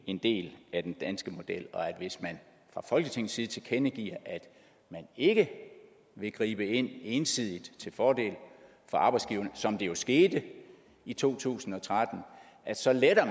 en del af den danske model og at hvis man fra folketingets side tilkendegiver at man ikke vil gribe ind ensidigt til fordel for arbejdsgiverne som det jo skete i to tusind og tretten så letter